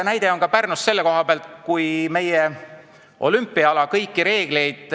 Mul on tuua halenaljakas näide Pärnust.